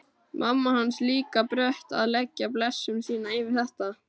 Mamma hans líka brött að leggja blessun sína yfir þetta.